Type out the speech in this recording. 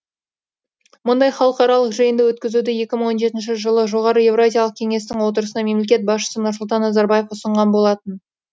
мұндай халықаралық жиынды өткізуді екі мың он жетінші жылы жоғары еуразиялық кеңестің отырысында мемлекет басшысы нұрсұлтан назарбаев ұсынған болатын